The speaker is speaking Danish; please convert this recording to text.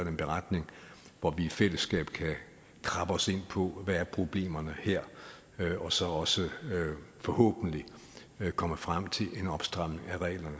en beretning hvor vi i fællesskab kan krabbe os ind på hvad problemerne her er og så også forhåbentlig komme frem til en opstramning af reglerne